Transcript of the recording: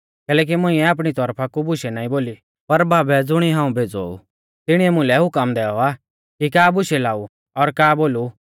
कैलैकि मुंइऐ आपणी तौरफा कु बुशै नाईं बोली पर बाबै ज़ुणिऐ हाऊं भेज़ौ ऊ तिणीऐ मुलै हुकम दैऔ आ कि का बुशै लाऊ और का बोलु